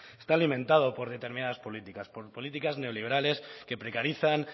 está alimentado por determinadas políticas por políticas neoliberales que precarizan